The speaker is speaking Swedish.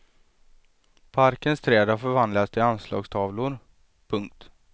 Parkens träd har förvandlats till anslagstavlor. punkt